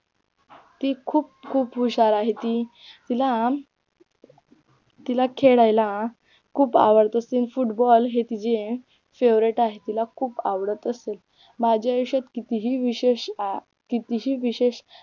ती खूप खूप हुशार आहे ती तिला तिला खेळायला खूप आवडते असते Football हे तिचे Favorite आहे तिला खूप आवडत असते माझ्या विषयात कितीही विशेष